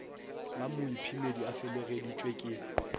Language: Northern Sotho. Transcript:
la moiphemedi a felegeditšwe ke